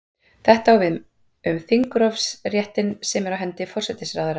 Þetta á við um þingrofsréttinn sem er á hendi forsætisráðherra.